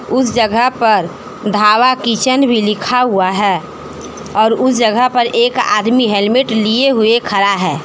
उस जगह पर ढाबा किचन भी लिखा हुआ है और उस जगह पर एक आदमी हेलमेट लिए हुए खरा है।